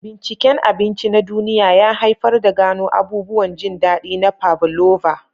Binciken abinci na duniya ya haifar da gano abubuwan jin daɗi na pavlova.